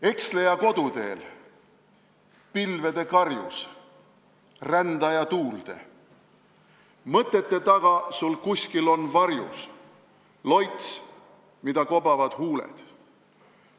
Eksleja koduteel, pilvede karjus, rändaja tuulde, mõtete taga sul kuskil on varjus loits, mida kobavad huuled.